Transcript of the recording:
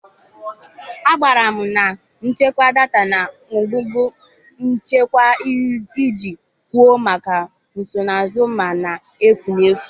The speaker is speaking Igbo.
agbagara m na nchekwa data na ngọngọ nchịkwa iji kọọ maka nsonaazụ m na-efu efu.